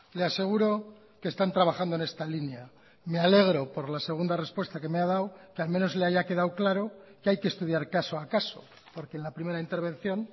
le aseguro que están trabajando en esta línea me alegro por la segunda respuesta que me ha dado que al menos le haya quedado claro que hay que estudiar caso a caso porque en la primera intervención